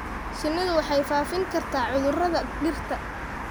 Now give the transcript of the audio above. Shinnidu waxay faafin kartaa cudurrada dhirta.